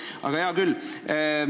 Aga hea küll.